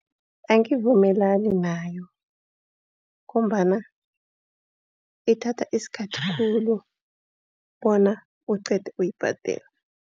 Angivumelani nayo ngombana ithatha isikhathi khulu bona uqede ukuyibhadela.